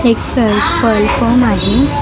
एक सेल पळ फोन आहे तिथ दो --